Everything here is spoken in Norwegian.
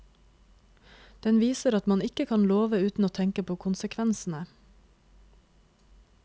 Den viser at man ikke kan love uten å tenke på konsekvensene.